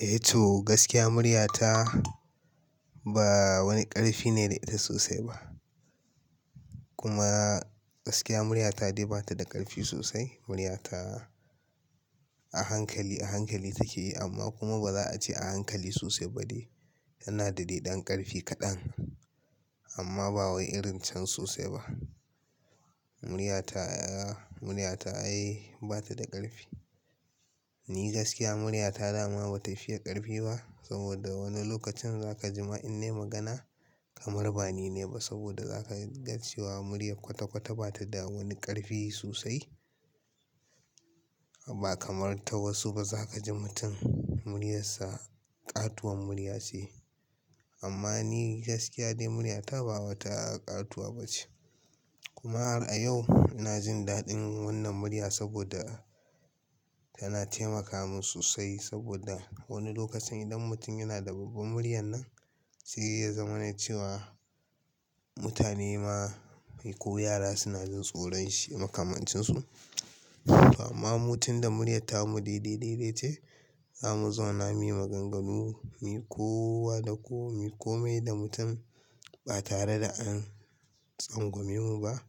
Eh to gaskiya muryata ba wani karfi ne da ita sosai ba. Kuma gaskiya muryata dai ba ta da karfi sosai. Muryata a hankali, a hankali take yi amma kuma ba za a ce a hankali sosai ba de. Yana da deɗan ƙarfi kaɗan amma ba wai irin can sosai ba. Muryata, muryata ai bata da ƙarfi. Ni gaskiya muryata dama bata fiye ƙarfi ba saboda wani lokacin zaka ji ma in nai magana kamar ba ni na yi ba saboda za ka ga cewa muryar kwata kwata bata da wani ƙarfi sosai. Ba kamar ta wasu ba za ka ji mutum muryarsa ƙatuwar murya ce. Amma ni gaskiya dai muryata ba wata ƙatuwa ba ce. Kuma har a yau ina jin daɗin wannan murya saboda tana taimaka min sosai saboda wani lokacin idan mutum yana da babban muryan nan sai ya zama ne cewa mutane ma ko yara suna jin tsoron shi makamancin su. To amma mu tunda muryar tamu dai dai dai dai ce za mu zama na yi maganganu me kowa da ko me kome da mutum ba tare da an tsangwame mu ba.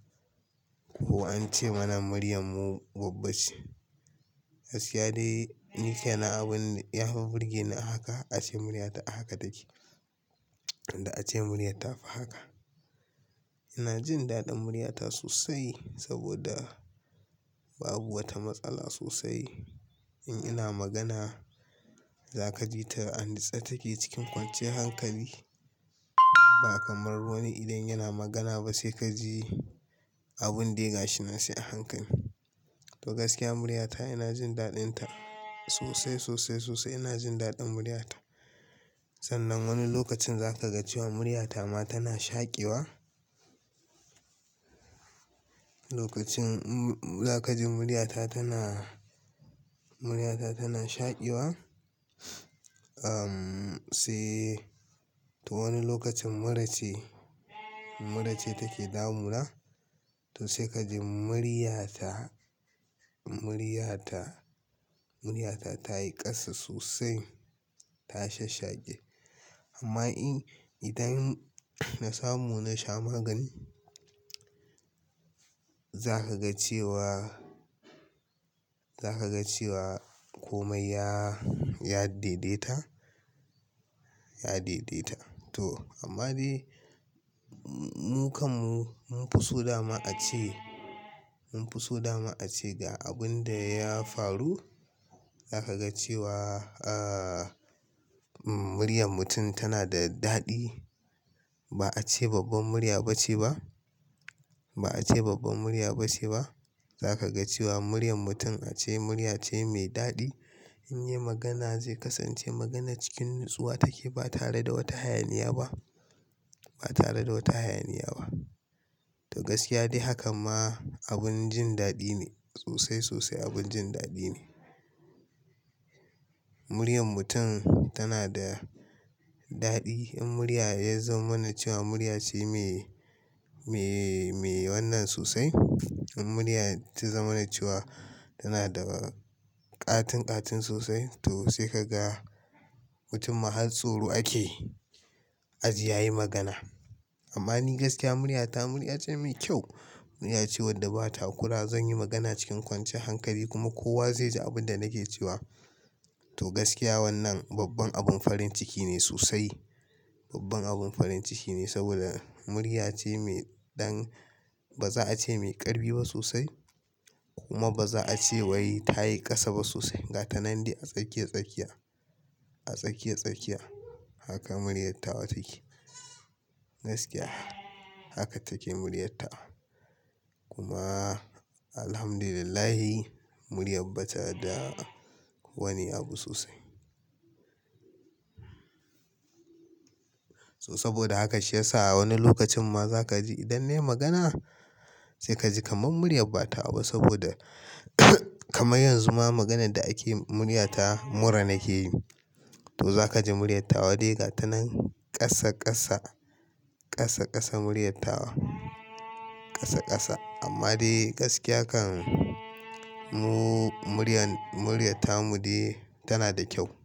Ko an ce mana muryarmu babba ce. Gaskiya dai ni ke na abun ya fi burgeni a haka ace muryata a haka take. Inda ace murya ta fi haka. Ina jin daɗin muryata sosai saboda babu wata matsala sosai. In ina magana za ka ji ta a nitse take cikin kwanciyar hankali. Ba kamar wani idan yana magana ba sai ka ji abun da ya gashi nan sai a hankali. To gaskiya muryata ina jin daɗin ta sosai, sosai, sosai ina jin daɗin muryata. Sannan wani lokacin za ka ga cewa muryata ma tana shaƙewa. Lokacin za ka ji muryata tana, muryata tana shaƙiwa. Am sai to wani lokacin mura ce, mura ce take damuna to sai ka ji muryata, muryata, muryata ta yi ƙasa sosai ta shasshaƙe. Amma in idan na samu na sha magani za ka ga cewa, za ka ga cewa komai ya, ya daidaita, ya daidaita. To amma dai mu kanmu mun fi so dama ace, mun fi so dama ace ga abun da ya faru za ka ga cewa ahh muryar mutum tana da daɗi. Ba a ce babban murya ba ce ba. Ba a ce babban murya ba ce ba. Za ka ga cewa muryar mutum ace murya ce mai daɗi. In yi magana zai kasance maganar cikin natsuwa take ba tare da wata hayaniya ba. Ba tare da wata hayaniya ba. To gaskiya dai hakan ma abin jin daɗi ne sosai, sosai abin jin daɗi ne. Muryar mutum tana da daɗi. In murya ya zama na cewa murya ce mai, mai, mai wannan sosai. In murya ta zama na cewa tana da ƙatin ƙatin sosai to sai ka ga mutum ma har tsoro ake ajiye yayi magana. Amma ni gaskiya muryata murya ce mai kyau. Murya ce wadda ba takura. Zan yi magana cikin kwanciyar hankali kuma kowa zai ji abin da nake cewa. To gaskiya wannan babban abin farin ciki ne sosai. Babban abin farin ciki ne saboda murya ce mai ɗan ba za a ce mai ƙarfi ba sosai kuma ba za a ce wai ta yi ƙasa ba sosai. Ga ta nan dai a tsakiya tsakiya, a tsakiya tsakiya. Haka muryar tawa take. Gaskiya haka take muryata kuma Alhamdulillahi muryar ba ta da wani abu sosai. To saboda haka shi ya sa wani lokacin ma za ka ji idan nai magana sai ka ji kamar murya ba tawa ba saboda kamar yanzu ma maganan da ake muryata mura nake yi. To za ka ji muryata wa dai ga ta nan ƙasa ƙasa, ƙasa ƙasa muryat tawa ƙasa ƙasa. Amma dai gaskiya kan mu muryan muryata mu dai tana da kyau.